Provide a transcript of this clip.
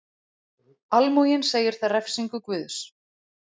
Almúginn segir það refsingu Guðs.